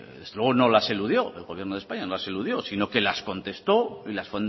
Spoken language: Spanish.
no las eludió el gobierno de españa no las eludió sino que las contestó y las